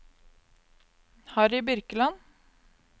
Harry Birkeland